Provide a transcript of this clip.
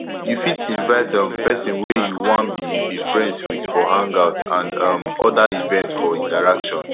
you fit invite um person wey you wan be be friends with for hangout and um oda events for interaction